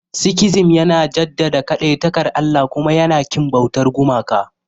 Sikhism yana jaddada kadaitakar Allah kuma yana ƙin bautar gumaka.